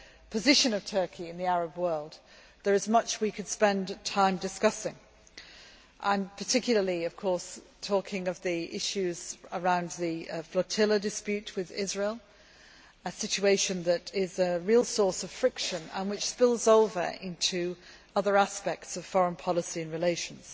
position of Turkey in the Arab world, there is much we could spend time discussing. I am particularly, of course, talking about the issues in regard to the flotilla dispute with Israel a situation that is a real source of friction and which spills over into other aspects of foreign policy and relations.